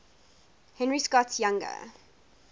henry scott's younger